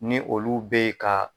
Ni olu bɛ ye ka